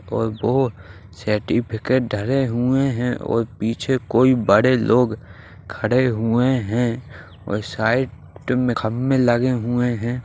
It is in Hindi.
और वो सर्टिफ़िकेट धरे हुए हैं और पीछे कोई बड़े लोग खड़े हुए हैं और साइड में खंबे लगे हुए हैं।